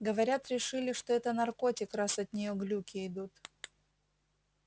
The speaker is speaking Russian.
говорят решили что это наркотик раз от нее глюки идут